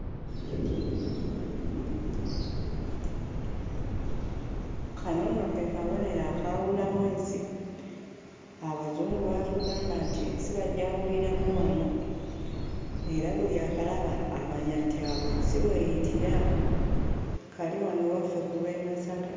Kano nno ke kabonero akawulamu ensi, Abazungu baatugamba nti ensi bagyawuliramu wano era buli akalaba amanya nti awo ensi w'eyitira; kali wano ewaffe ku lw'e Masaka.